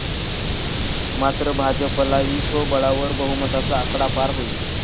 मात्र भाजपलाही स्वबळावर बहुमताचा आकडा पार होईल.